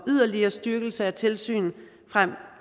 yderligere styrkelse af tilsynet frem